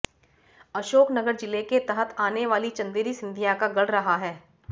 अशोकनगर जिले के तहत आने वाली चंदेरी सिंधिया का गढ़ रहा है